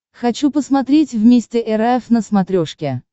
хочу посмотреть вместе эр эф на смотрешке